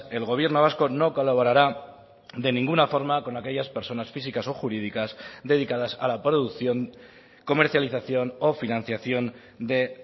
el gobierno vasco no colaborará de ninguna forma con aquellas personas físicas o jurídicas dedicadas a la producción comercialización o financiación de